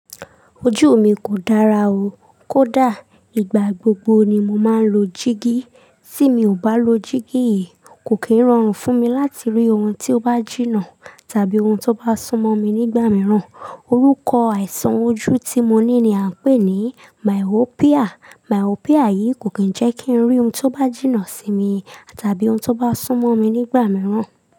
Ojú mi kò dára o, kó dà, ìgbà gbogbo ni mo máa ń lo jíígí. Tí mi ò bá lo jíígí yìí, kò kí ń rọrùn fún mi láti rí ohun tí ó bá jìnnà tàbí ohun tí ó bá sún mọ́ mi nígbà mìíràn. Orúkọ àìsàn ojú tí mo ní ni à ń pè ní myopia. Myopia yìí kò kí ń jẹ́ kí n rí ohun tí ó bá jìnnà sí mi tàbí ohun tí ó bá sún mọ́ mi nígbà mìíràn.